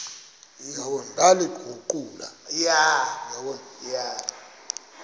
ndaliguqula